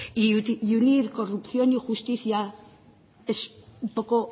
y unir corrupción y justicia es un poco